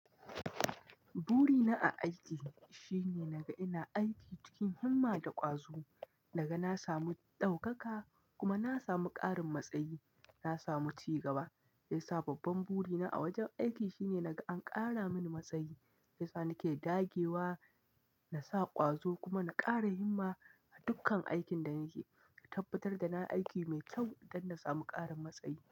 Burina a aiki shine naga ina aiki cikin himma da ƙwazo, naga na samu ɗaukaka kuma na samu ƙarin matsayi, na samu cigaba. Me yasa babban burina a wajen aiki shine naga an ƙara mini matsayi, shi yasa nake dagewa na sa ƙwazo kuma na ƙara himma a dukkan aikin da nake, na tabbatar da na aiki mai kyau don na samu ƙarin matsayi.